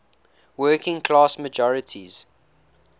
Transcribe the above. working class majorities